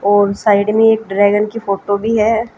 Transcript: और साइड में एक ड्रैगन की फोटो भी है।